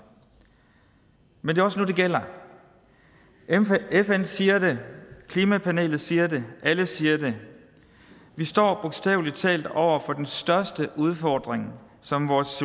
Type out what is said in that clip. men det er også nu det gælder fn siger det klimapanelet siger det alle siger det vi står bogstavelig talt over for den største udfordring som vores